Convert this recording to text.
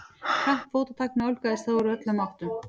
Hratt fótatak nálgaðist þá úr öllum áttum.